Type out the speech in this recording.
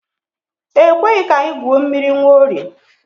E kweghị ka anyị gwuo mmiri Nwaorie.